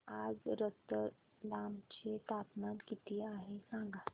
आज रतलाम चे तापमान किती आहे सांगा